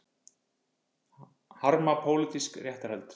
Harma pólitísk réttarhöld